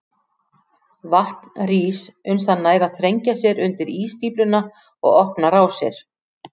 Vatn rís uns það nær að þrengja sér undir ísstífluna og opna rásir.